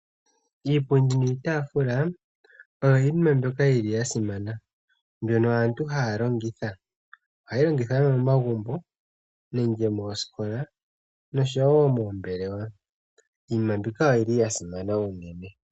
Iipundi niitafula oyo yimwe mbyoka yili yasimana mbyono aantu haya longitha . Ohayi longithwa momagumbo nenge moositola noshowo moombelewa. Iinima mbika oyili yasimana unene.